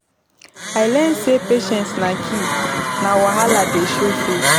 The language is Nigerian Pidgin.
I learn sey patience na key wen wahala dey show face.